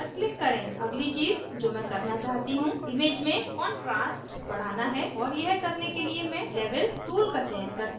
अगली चीज़ जो मैं करना चाहती हूँ image में contrast बढ़ाना है और यह करने के लिए मैं levels tool का चयन करती हूँ